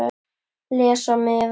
Les á miðann.